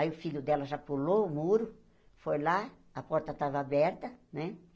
Aí o filho dela já pulou o muro, foi lá, a porta tava aberta, né?